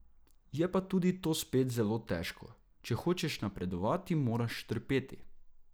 Je pa tudi to spet zelo težko, če hočeš napredovati, moraš trpeti.